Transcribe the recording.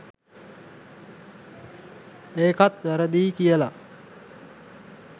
ඒකත් වැරදියි කියලා